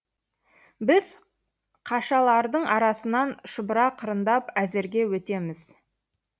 біз қашалардың арасынан шұбыра қырындап әзерге өтеміз